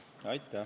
Aitäh!